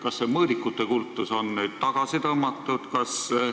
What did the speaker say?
Kas seda mõõdikute kultust on nüüd tagasi tõmmatud?